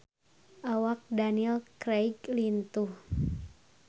Awak Daniel Craig lintuh